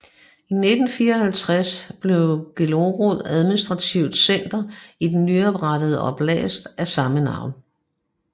I 1954 blev Belgorod administrativt center i den nyoprettede oblast af samme navn